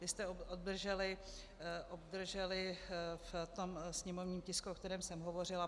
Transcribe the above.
- Vy jste obdrželi v tom sněmovním tisku, o kterém jsem hovořila.